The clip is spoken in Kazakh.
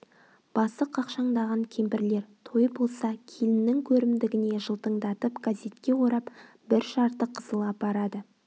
басы қақшаңдаған кемпірлер той болса келіннің көрімдігіне жылтыңдатып газетке орап бір жарты қызыл апарады